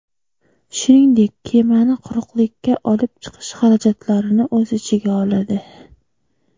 shuningdek kemani quruqlikka olib chiqish xarajatlarini o‘z ichiga oladi.